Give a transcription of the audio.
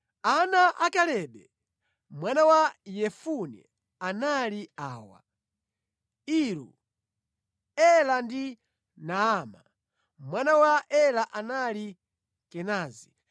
Ana a Kalebe mwana wa Yefune anali awa: Iru, Ela ndi Naama. Mwana wa Ela anali Kenazi.